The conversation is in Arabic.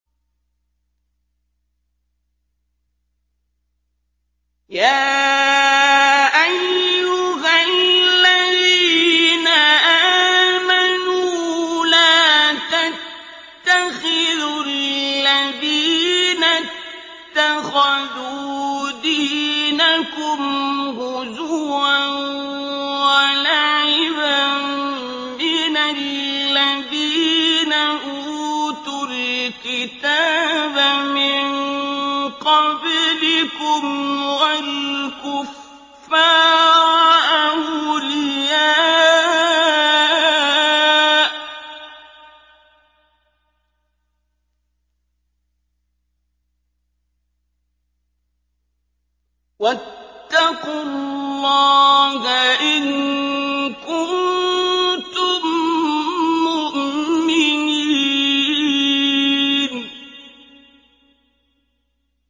يَا أَيُّهَا الَّذِينَ آمَنُوا لَا تَتَّخِذُوا الَّذِينَ اتَّخَذُوا دِينَكُمْ هُزُوًا وَلَعِبًا مِّنَ الَّذِينَ أُوتُوا الْكِتَابَ مِن قَبْلِكُمْ وَالْكُفَّارَ أَوْلِيَاءَ ۚ وَاتَّقُوا اللَّهَ إِن كُنتُم مُّؤْمِنِينَ